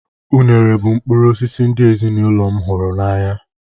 Unere bụ mkpụrụ osisi ndị ezinụlọ m hụrụ n'anya.